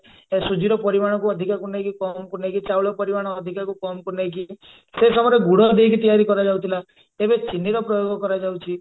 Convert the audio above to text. ସୁଜିର ପରିମାଣକୁ ଅଧିକାକୁ ନେଇକି କମ କୁ ନେଇକି ଚାଉଳ ପରିମାଣ ଅଧିକାକୁ କମକୁ ନେଇକି ସେ ସମୟରେ ଗୁଡ ଦେଇକି ତିଆରି କରାଯାଉଥିଲା ଏବେ ଚିନିର ପ୍ରୟୋଗ କରାଯାଉଛି